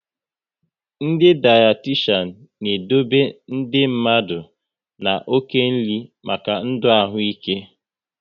Ndị dayatishan n'edobe ndị mmadụ na oke nri maka ndụ ahụ ikw